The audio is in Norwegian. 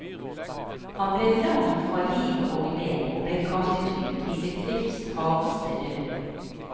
Han ble lam fra livet og ned, og ble kastet ut i sitt livs hardeste løp.